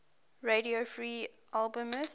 radio free albemuth